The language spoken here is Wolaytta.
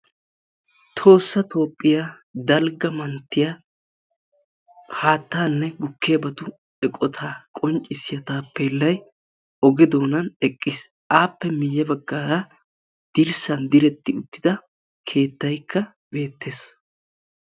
Tohossa Toophphiya dalgga manttiya haattanne gukkiyabatu eqqotaa qonccissiya taappellay oge doonaani eqqiis. Aappe miye baggaara dirssan direttida keettaykka beettees.